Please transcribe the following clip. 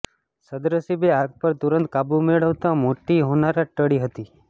સદ્નસીબે આગ પર તુરંત કાબુ મેળવાતા મોટી હોનારત ટળી હતી